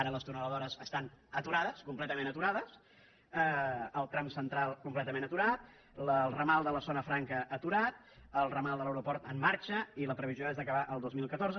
ara les tuneladores estan aturades completament aturades el tram central completament aturat el ramal de la zona franca aturat el ramal de l’aeroport en marxa i la previsió és d’acabar el dos mil catorze